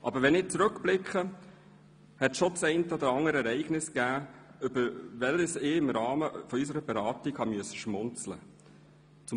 Aber wenn ich zurückblicke, gab es schon das eine oder andere Ereignis im Rahmen unserer Beratungen, über das ich schmunzeln musste.